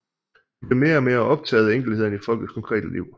De blev mere og mere optaget af enkelthederne i folkets konkrete liv